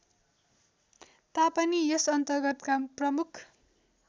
तापनि यसअन्तर्गतका प्रमुख